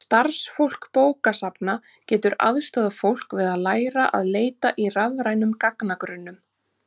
Starfsfólk bókasafna getur aðstoðað fólk við að læra að leita í rafrænum gagnagrunnum.